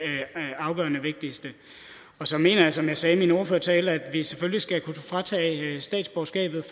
afgørende vigtigste og så mener jeg som jeg sagde i min ordførertale at vi selvfølgelig skal kunne tage statsborgerskabet